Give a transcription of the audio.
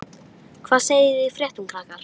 Hvað segið þið í fréttum, krakkar?